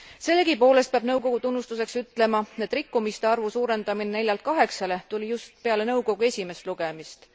Sellegipoolest peab nõukogu tunnustuseks ütlema, et rikkumiste arvu suurendamine neljalt kaheksale tuli just pärast nõukogu esimest lugemist.